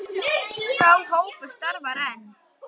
Sá hópur starfar enn.